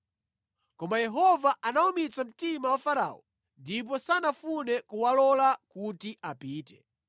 Koma Yehova anawumitsa mtima wa Farao ndipo sanafune kuwalola kuti apite.